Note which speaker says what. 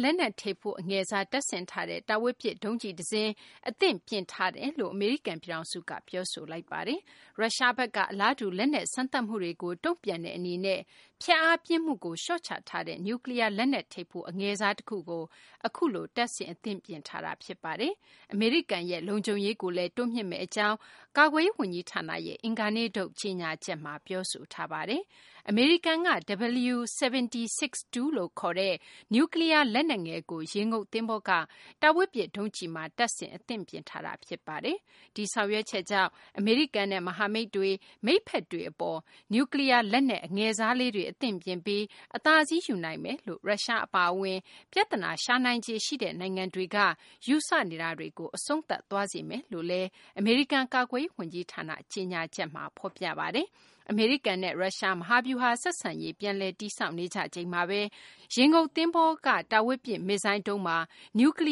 Speaker 1: လက်နက်ထိပ်ဖူး အငယ်စား တပ်ဆင်ထားတဲ့ တားဝေးပစ်ဒုံးကျည် တစင်း အသင့်ပြင်ထားတယ်လု့ိ အမေရိကန် ပြည်ထောင်စုက ပြောဆိုပါတယ်။ ရုရှားဘက်က အလားတူ လက်နက် စမ်းသပ်မှုတွေကို တုံ့ပြန်တဲ့ အနေနဲ့ ဖျက်အားပြင်းမှုကို လျော့ချထားတဲ့ နျူးကလီးယား လက်နက် ထိပ်ဖူး အငယ်စား တခုကို အခုလို တပ်ဆင် အသင့်ပြင်ထားတာ ဖြစ်ပါတယ်။ အမေရိကန်ရဲ့ လုံခြုံရေးကိုလည်း တိုးမြှင့်မယ့် အကြောင်း အမေရိကန် ကာကွယ်ရေး ဝန်ကြီးဌာနရဲ့ အင်္ဂါနေ့ထုတ် ကြေညာချက်မှာ ပြောဆိုထားပါတယ်။ အမေရိကန်က W76-2 လို့ ခေါ်တဲ့ နျူးကလီးယား လက်နက်ငယ်ကို ရေငုပ်သဘောၤက တာဝေးပစ် ဒုံးကျည်မှာ တပ်ဆင် အသင့်ပြင်ထားတာ ဖြစ်ပါတယ်။ ဒီဆောင်ရွက်ချက်ကြောင့် အမေရိကန်နဲ့ မဟာမိတ်တွေ၊ မိတ်ဖက်တွေ အပေါ် နျူးကလီးယား လက်နက် အငယ်စားလေးတွေ အသင့်ပြင်ထားပြီး အသာစီး ယူနိုင်မယ်လို့ ရုရှား အပါအဝင် ပြသနာ ရှာနိုင်ခြေရှိတဲ့ နိုင်ငံတွေက ယူဆနေတာတွေကို အဆုံးသတ်သွားစေ မယ်လို့လည်း အမေရိကန် ကာကွယ်ရေး ဝန်ကြီးဌာန ကြေညာချက်မှာ ဖော်ပြပါတယ်။ အမေရိကန်နဲ့ ရုရှား မဟာဗျူဟာ ဆက်ဆံရေး ပြန်လည် တည်ဆောက်နေကြချိန်မှာဘဲ ရေငုပ်သဘောၤက တားဝေးပစ် မစ်ဇိုင်းဒုံးမှာ နျူးကလ